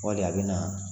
Wali a bɛ na